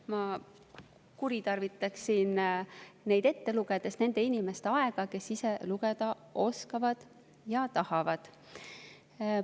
Ma kuritarvitaks siin neid ette lugedes nende inimeste aega, kes ise lugeda oskavad ja tahavad.